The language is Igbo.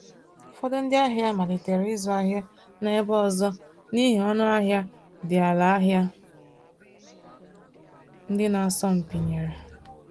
Ụfọdụ ndị ahịa malitere ịzụ ahịa n’ebe ọzọ n’ihi ọnụahịa dị ala ahịa ndị na-asọ mpi nyere.